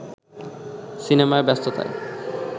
সিনেমার ব্যস্ততায়